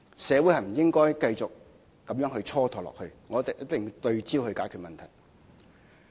社會不應該繼續這樣蹉跎下去，我們一定要對焦解決問題。